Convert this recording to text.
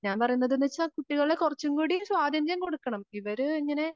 ഞാൻ പറയുന്നത് കുട്ടികളെ കുറച്ചും കൂടി സ്വാതന്ത്ര്യം കൊടുക്കണം ഇവര് ഇങ്ങനെ